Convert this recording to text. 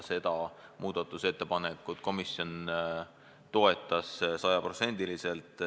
Seda muudatusettepanekut komisjon toetas sajaprotsendiliselt.